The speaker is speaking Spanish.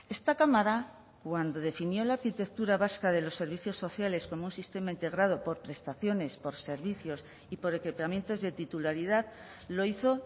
esta cámara cuando definió la arquitectura vasca de los servicios sociales como un sistema integrado por prestaciones por servicios y por equipamientos de titularidad lo hizo